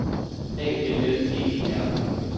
A L L E E R